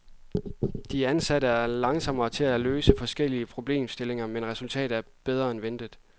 De ansatte er langsomme til at løse forskellige problemstillinger, men resultatet er bedre end ventet.